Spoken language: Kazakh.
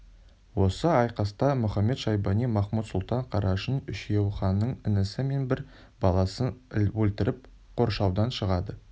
осы айқаста мұхамед-шайбани махмуд-сұлтан қарашың үшеуі ханның інісі мен бір баласын өлтіріп қоршаудан шығады